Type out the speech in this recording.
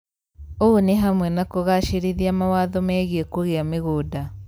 ũũ nĩ hamwe na kũgacĩrithia mawatho megie kũgia mĩgũnda,